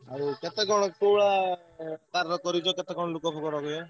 କେତେ କଣ କୋଉଭଳିଆ କେତେ କଣ ଲୋକ ଫୋକ ଲଗେଇକି।